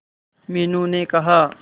मीनू ने कहा